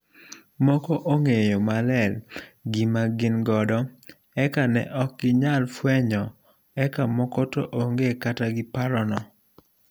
moko ong'eyo maler gima gin godo eka ne ok ginyal fuenyo eka moko to onge kata gi parono